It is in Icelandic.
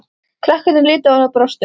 Krakkarnir litu á hana og brostu.